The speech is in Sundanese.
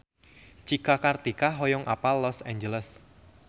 Cika Kartika hoyong apal Los Angeles